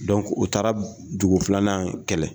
Dɔnku u taara dugu filanan kɛlɛ